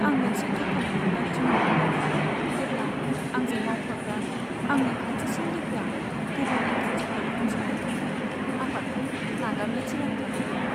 आं मोनसे दुखुनि मोनदांथि मोनदोंमोन, जेब्ला आंजों मावफाग्रा आंनि खाथिसिन लोगोआ गुबुन इन्टारेस्टफोर उनसंनो थाखाय आफादखौ नागारनो थिरांथा लादोंमोन।